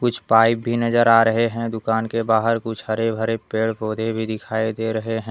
कुछ पाइप भी नजर आ रहे हैं दुकान के बाहर कुछ हरे भरे पेड़ पौधे भी दिखाई दे रहे हैं।